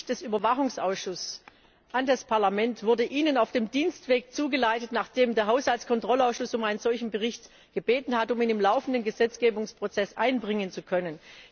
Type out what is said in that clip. Der Bericht des Überwachungsausschusses an das Parlament wurde Ihnen auf dem Dienstweg zugeleitet, nachdem der Haushaltskontrollausschuss um einen solchen Bericht gebeten hatte, um ihn im laufenden Gesetzgebungsprozess einbringen zu können.